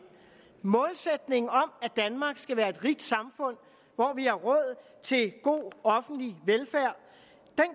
målsætningen om at danmark skal være et rigt samfund hvor vi har råd til god offentlig velfærd